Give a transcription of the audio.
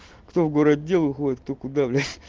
кто в городе выходит кто куда